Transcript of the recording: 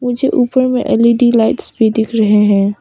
मुझे ऊपर में एल_ई_डी लाइट्स भी दिख रहे हैं।